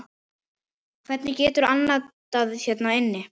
Hvernig geturðu andað hérna inni?